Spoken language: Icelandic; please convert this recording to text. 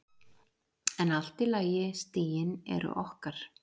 En allt í lagi, stigin eru okkar.